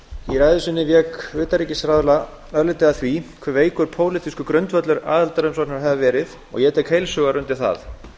í ræðu sinni vék utanríkisráðherra örlítið að því hve veikur pólitískur grundvöllur aðildarumsóknar hefði verið og ég tek heils hugar undir það